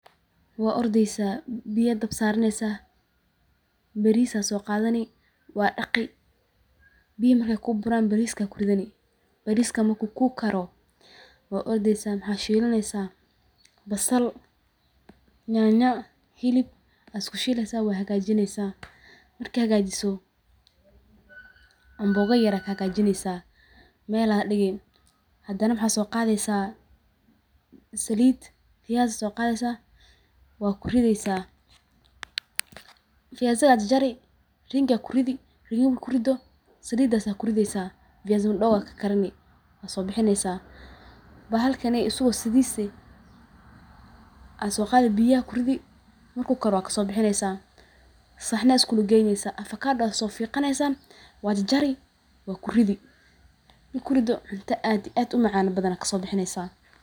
Wa ordeysa biyo ayad dabka sarsni baris ayad soqadani wad daqi biyaha markey kuburan bariska kudari marku kukaro wad ordeysa waxa shilaneysa basal Tanya hilb ayad iskushileysa wad hagajini amboga yar ayad kahagajini meel Aya digi Hadana waxa soqadeysa silid fayasi kudarsa, fayasi soqadi wad jajari rangi kudari markakurido salida kurideysa wad sobixi fayasi madogo kakarini. Bahalkaney aya soqadi biyo kudari saxni iskulugneysa afakado fiqani wad jarari wadkuridi marka kurido cunto aad iyo aad umacan kasobixi.